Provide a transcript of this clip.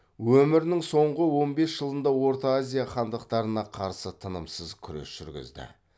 өмірінің соңғы он бес жылында орта азия хандықтарына қарсы тынымсыз күрес жүргізді